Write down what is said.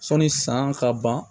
Sɔnni san ka ban